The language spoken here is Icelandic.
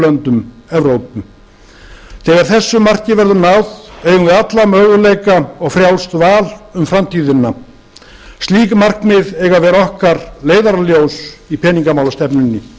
löndum evrópu þegar þessu marki verður náð eigum við alla möguleika og frjálst val um framtíðina slík markmið eiga að vera okkar leiðarljós í peningamálastefnunni